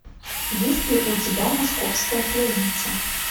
есть ли у тебя московская пленница